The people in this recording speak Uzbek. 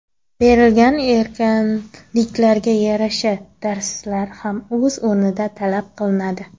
Berilgan erkinliklarga yarasha darslar ham o‘z o‘rnida talab qilinadi.